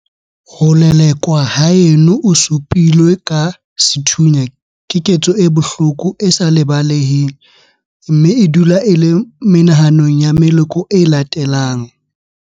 Ho lelekwa haeno o su pilwe ka sethunya keketso e bohloko e sa lebaleheng mme e dula e le menahanong ya meloko e latelang.